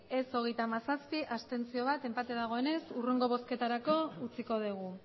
ez hogeita hamazazpi abstentzioak bat enpate dagoenez hurrengo bozketarako utziko dugu